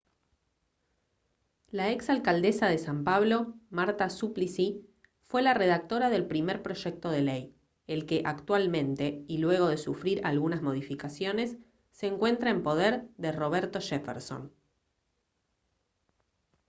la exalcaldesa de san pablo marta suplicy fue la redactora del primer proyecto de ley el que actualmente y luego de sufrir algunas modificaciones se encuentra en poder de roberto jefferson